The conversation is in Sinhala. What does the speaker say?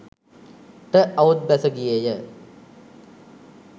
ට අවුත් බැස ගියේ ය.